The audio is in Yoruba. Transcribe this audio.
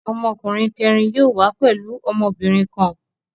Ọmọkùnrin kẹ̀rin yóò wá pẹ̀lú ọmọbìnrin kan.